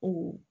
O